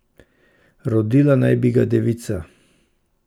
Rodila naj bi ga devica.